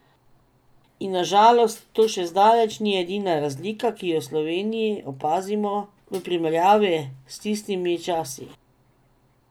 In na žalost to še zdaleč ni edina razlika, ki jo v Sloveniji opazimo v primerjavi s tistimi časi ...